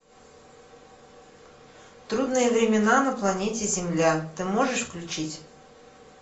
трудные времена на планете земля ты можешь включить